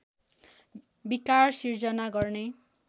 विकार सिर्जना गर्ने